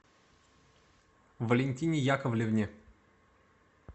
валентине яковлевне